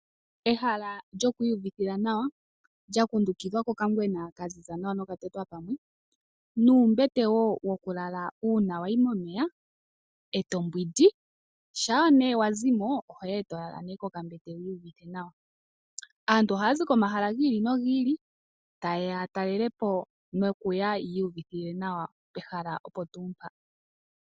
Ehala lyoku iyuvithila nawa lya kundukidhwa kokangwena ka ziza nawa noka tetwa pamwe nuumbete woo woku lala uuna wayi momeya eto mbwindi shampa nee wa zimo ohoya eto lala kokambete wuuvite nawa, aantu ohaya zi komahala gi ili nogi ili ta yeya ya talelepo nokuya yi uyuvithe nawa pehala opo tuu mpa.